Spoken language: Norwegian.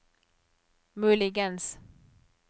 muligens